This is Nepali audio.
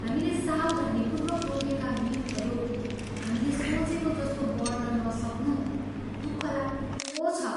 हामीले सावधानीपूर्वक रोपेका बिउहरू हामीले सोचेको जस्तो बढ्न नसक्नु दुखलाग्दो छ।